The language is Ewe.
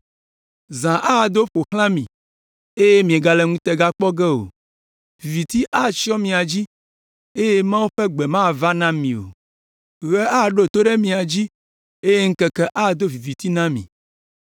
Zã ado aƒo xlã mi eye miegale ŋutega kpɔ ge o; viviti atsyɔ mia dzi eye Mawu ƒe gbe mava na mi o. Ɣe aɖo to ɖe mia dzi eye ŋkeke ado viviti na mi.